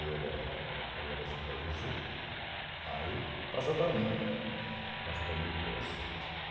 Eu era eu eu era supervisor, aí passou para mim, passou para mim e eu trouxe.